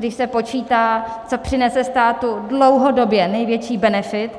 Když se počítá, co přinese státu dlouhodobě největší benefit,